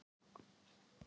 Ekki orð um það!